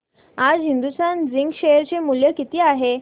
आज Hindustan zinc share चे मूल्य किती आहे